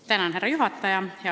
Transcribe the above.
Austatud härra juhataja!